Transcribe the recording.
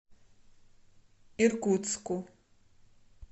иркутску